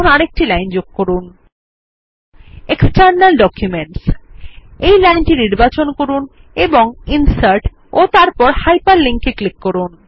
এখন আরেকটি লাইন যোগ করুন 160 এক্সটার্নাল ডকুমেন্ট এই লাইনটি নির্বাচন করুন এবং ইনসার্ট ও তারপর Hyperlink এর উপর ক্লিক করুন